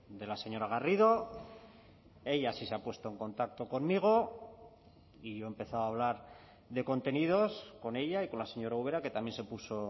de la señora garrido ella sí se ha puesto en contacto conmigo y yo he empezado a hablar de contenidos con ella y con la señora ubera que también se puso